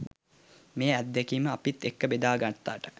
මේ අත්දැකීම් අපිත් එක්ක ‍බෙදා ගත්තාට.